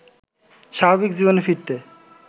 স্বাভাবিক জীবনে ফিরতে